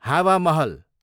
हावा महल